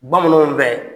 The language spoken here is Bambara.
Bamananw bɛ